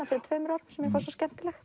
fyrir tveimur árum sem mér fannst svo skemmtileg